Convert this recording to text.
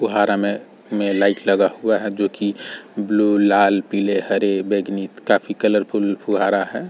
फुहारा में में लाइट लगा हुआ है जो की ब्लू लाल पीले हरे बैगनी काफी कलरफुल फुहारा है।